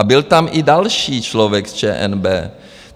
A byl tam i další člověk z ČNB.